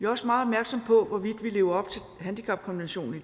også meget opmærksomme på hvorvidt vi lever op til handicapkonventionen